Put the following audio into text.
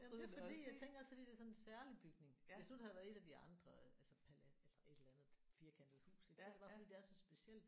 Jamen det er fordi jeg tænker også fordi det er sådan en særlig bygning. Hvis nu det havde været et af de andre altså altså et eller andet firkantet hus ik så er det bare fordi det er så specielt